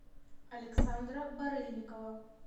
александра барыльникова